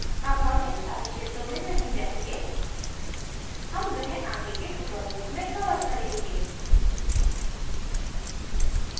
अब हम इन सारे क्षेत्रों में नहीं जायेंगे हम वह आगे के tutorials में cover करेंगे